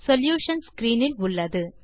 solution screen இல் உள்ளது